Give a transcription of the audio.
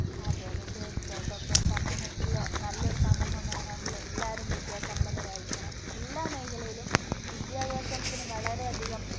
അതെ അതെ തീർച്ചയായിട്ടും അപ്പൊ സമൂഹത്തില് നല്ലൊരു സമൂഹം വേണമെങ്കില് എല്ലാരും വിദ്യാസമ്പന്നരായിരിക്കണം. എല്ലാ മേഖലയിലും വിദ്യാഭ്യാസത്തിന് വളരെയധികം